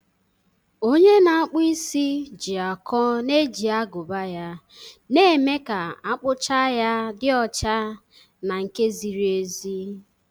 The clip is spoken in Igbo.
Onye na-akpụ isi ji akọ na-eji agụba ya, na-eme ka akpụcha ya dị ọcha na nke ziri ezi.